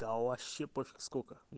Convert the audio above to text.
да вообще пофиг сколько